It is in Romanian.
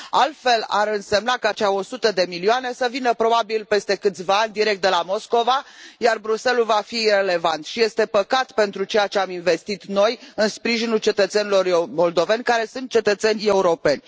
Altfel, ar însemna ca cele 100 de milioane să vină probabil peste câțiva ani direct de la Moscova, iar Bruxelles ul va fi irelevant și este păcat pentru ceea ce am investit noi în sprijinul cetățenilor moldoveni, care sunt cetățeni europeni.